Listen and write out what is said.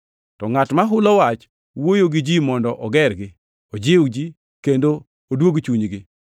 To ngʼat ma hulo wach, wuoyo gi ji mondo ogergi, ojiwgi kendo oduog chunygi.